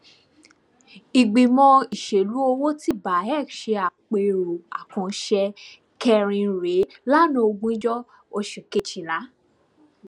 ìgbìmọ ìṣèlú owó ti cs]beac ṣe àpérò àkànṣe kẹrin rẹ lanaa ogunjo oṣù kejìlá